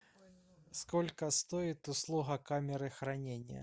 сколько стоит услуга камеры хранения